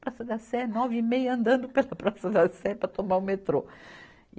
Praça da Sé, nove e meia, andando pela Praça da Sé para tomar o metrô. e